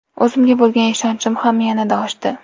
O‘zimga bo‘lgan ishonchim ham yanada oshdi.